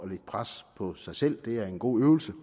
lægge pres på sig selv er en god øvelse